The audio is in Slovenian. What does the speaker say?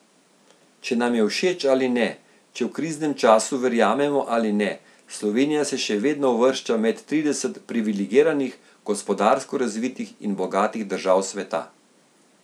Če nam je všeč ali ne, če v kriznem času verjamemo ali ne, Slovenija se še vedno uvršča med trideset privilegiranih, gospodarsko razvitih in bogatih držav sveta.